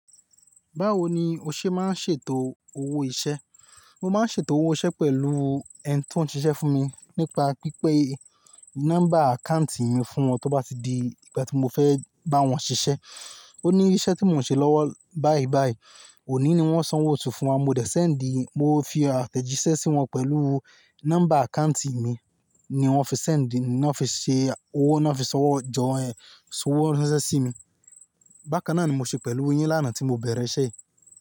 Báwo ni o ṣe máa ń ṣètò owó iṣẹ́? Mo máa ń ṣètò owó iṣẹ́ pẹ̀lú ẹni tí wọ́n ń ṣiṣẹ́ fún mi nípa pípé nọ́mbà àkáùntì mi fún wọn tí ó bá di ìgbà tí mo fẹ́ bá wọn ṣiṣẹ́. Ó ní iṣẹ́ tí mò ń ṣe lọ́wọ́ báìbàì, òní ni wọ́n sanwó oṣù fún wa, mo dẹ̀ ṣẹ̀ n di, mo fi àtẹ̀jíṣẹ́ sí wọn pẹ̀lú nọ́mbà àkáùntì mi ni wọ́n fi ṣẹ̀ n di, ni wọ́n fi ṣe owó, ni wọ́n fi sanwó jọ ẹ, sanwó ranṣẹ sí mi. Bákan náà ni mo ṣe pẹ̀lú e yín lánàá tí mo bẹ̀rẹ̀ iṣẹ́ yìí.